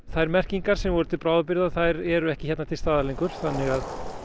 þær merkingar sem voru til bráðabirgða eru ekki hérna lengur þannig að